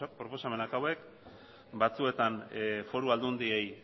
proposamenak hauek batzuetan foru aldundiei